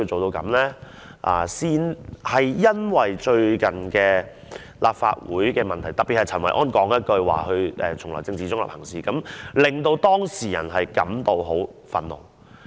然而，因為最近立法會發生的問題，特別是陳維安說他從來政治中立行事，令當事人感到很憤怒。